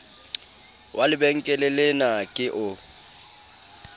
wa lebenkele lena ke o